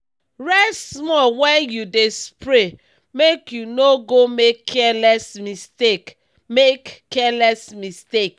rest small when you dey spray make you no go make careless mistake. make careless mistake.